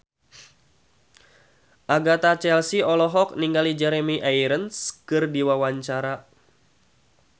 Agatha Chelsea olohok ningali Jeremy Irons keur diwawancara